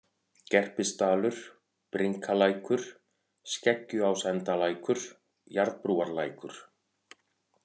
Gerpisdalur, Brynkalækur, Sleggjuásendalækur, Jarðbrúarlækur